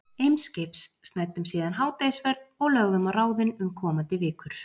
Eimskips, snæddum síðan hádegisverð og lögðum á ráðin um komandi vikur.